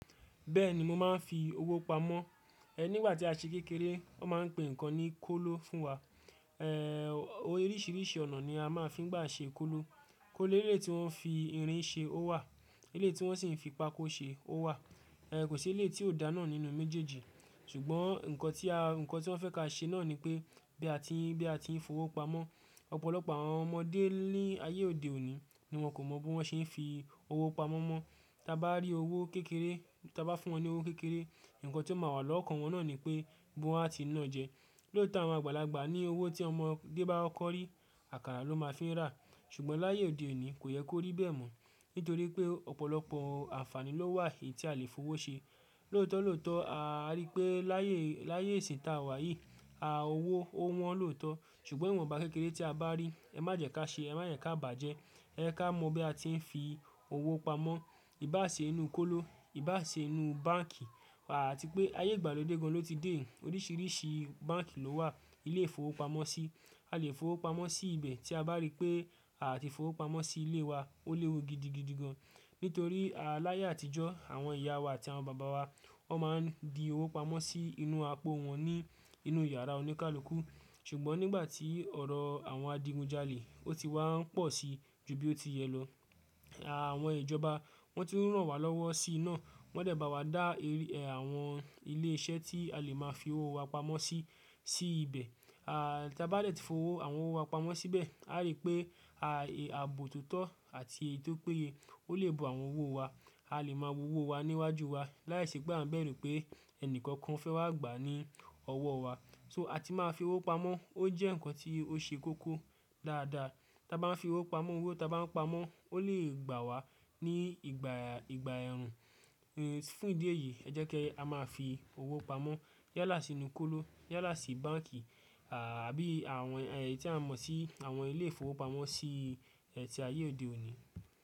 Bẹ́ẹ̀ni mo máa ń fi owó pamọ́. Ẹ nígbà tí a ṣe kékeré, wọ́n máa ń pè nǹkan ní kóló fún wa. Ẹ oríṣìíríṣìí ọ̀nà ni a máa ń fi gbà ṣe kóló. Kóló eléyìí tí wọ́n fi irin ṣe ó wà, eléyìí tí wọ́n sì ń fi pákó ṣe ó wà. Ẹ kò sí ilé tí ò dáná nínú méjèèjì. Ṣùgbọ́n nǹkan tí a, nǹkan tí wọ́n fẹ́ ka ṣe náà ni pé bí a ti ń, bí a ti ń fi owó pamọ́. Ọ̀pọ̀lọpọ̀ àwọn ọmọdé ní ayé òde òní ni wọ́n kò mọ̀ bí wọ́n ṣe ń fi owó pamọ́ mọ́. Tí a bá rí owó kékeré, tí a bá fún wọn ní owó kékeré, nǹkan tí ó máa wà lọ́kàn wọn náà ni pé bí wọ́n á ti náà jẹ. Lóòótọ́ àwọn àgbàlagbà ní owó tí ọmọdé bá kókó rí, àkàrà ló máa ń fi rà. Ṣùgbọ́n láyé òde òní kò yẹ kó rí bẹ́ẹ̀ mọ́. Nítorí pé ọ̀pọ̀lọpọ̀ àǹfààní ló wà èyí tí a lè fi owó ṣe. Lóòótọ́, lóòótọ́ a rí pé láyé, láyé ìsè tà wa yìí a owó ó wọ́n lóòótọ́. Ṣùgbọ́n ìwọ̀nba kékeré tí a bá rí ẹ má jẹ ká ṣe, ẹ má yẹn ká bàjẹ́. Ẹ ká mọ bí a ti ń fi owó pamọ́. Ìbá ṣe inú kóló, ìbá ṣe inú báǹkì. Wà á ti pé ayé ìgbàlódé gan ló ti dé. Oríṣìíríṣìí báǹkì ló wà. Ilé ìfowópamọ́sí, a lè fowó pamọ́ sí ibẹ̀ tí a bá rí pé àti fowó pamọ́ sí ilé wa ó léwu gidigidi gan. Nítorí a láyé àtijọ́, àwọn ìyá wa àti àwọn bàbá wa ó máa ń di owó pamọ́ sí inú àpò wọn ní inú yàrá oníkálukú. Ṣùgbọ́n nígbà tí ọ̀rọ̀ àwọn adigunjalè ó ti wá ń pọ̀ sí ju bí ó ti yẹ lọ. A àwọn ìjọba wọ́n ti ń ràn wá lọ́wọ́ sí i náà. Wọ́n dẹ̀ ba wa dá èr, ẹ àwọn ilé iṣẹ́ tí a lè máa fi owó wa pamọ́ sí, sí ibẹ̀. A ta a bá dẹ̀ ti fowó, àwọn owó wa pamọ́ síbẹ̀. A rí pé a è àbò tútọ́ àti èyí tó péye ó lè bo àwọn owó wa. A lè máa wo owó wa níwájú wa láìṣé pé à ń bẹ̀rù pé ẹnìkankan fẹ́ wá gbà á ní ọwọ́ wa. So a ti máa fi owó pamọ́. Ó jẹ́ nǹkan tí ó ṣe kókó dáàdá. Tí a bá ń fi owó pamọ́, owó tí a bá ń pamọ́ ó lè gbà wá ní ìgbà, ìgbà ẹ̀rù. Fún ìdí èyí ẹ jẹ́ ká máa fi owó pamọ́ yálà sí inú kóló, yálà sí báǹkì. À bí àwọn èyí tí a mọ̀ sí àwọn ilé ìfowópamọ́ sí ẹ ti ayé òde òní.